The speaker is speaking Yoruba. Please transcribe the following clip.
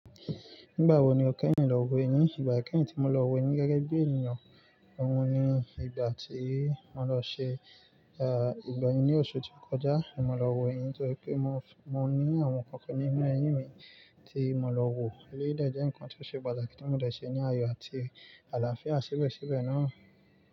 Nígbà wo ni o kẹ́yìn lọ wo eyín? Ìgbà ìkẹ́yìn tí mo lọ wo eyín ní gẹ́gẹ́ bí ènìyàn, òun ni ìgbà tí mo lọ ṣe, à, ìgbà yẹn ní oṣù tó kọjá ni mo lọ wo eyín nítorí pé mo, mo ní àwọn nǹkan kan nínú eyín mi tí mo lọ wò. Eléyìí dẹ̀ jẹ́ nǹkan tí ó ṣe pàtàkì tí mo dẹ̀ ṣe ní àyọ̀ àti àlàáfíà síbẹ̀síbẹ̀ náà.